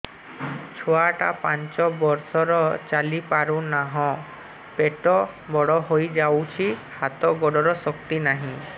ଛୁଆଟା ପାଞ୍ଚ ବର୍ଷର ଚାଲି ପାରୁନାହଁ ପେଟ ବଡ ହୋଇ ଯାଉଛି ହାତ ଗୋଡ଼ର ଶକ୍ତି ନାହିଁ